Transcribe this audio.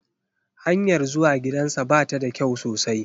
Hanyar zuwa gidansa ba ta da kyau sosai